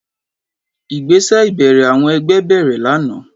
Ìgbésẹ̀ ìbẹ̀rẹ̀ àwọn ẹgbẹ́ bẹ̀rẹ̀ lánàá.